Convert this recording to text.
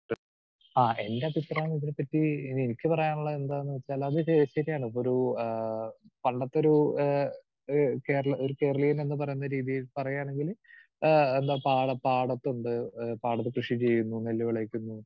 speaker 2 ആഹ് എൻറഭിപ്രായം ഇതിനെപ്പറ്റി എനിക്ക് പറയാനുള്ളത് എന്താണെന്ന് വെച്ചാൽ അത് ശ ശരിയാണ് ഒരു ആഹ് പണ്ടത്തെ ഒരുഏഹ് കേരള ഒരു കേരളീയനെന്ന് പറയുന്ന രീതിയിൽ പറയുകയാണെങ്കില് ആഹ് എന്താ പാട പാടത്തുണ്ട് പാടത്ത് കൃഷി ചെയ്യുന്നു നെല്ലു വിളയിക്കുന്നു